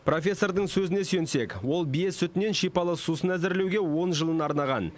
профессордың сөзіне сүйенсек ол бие сүтінен шипалы сусын әзірлеуге он жылын арнаған